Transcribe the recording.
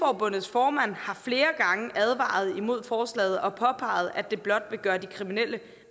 formand har flere gange advaret imod forslaget og påpeget at det blot vil gøre de kriminelle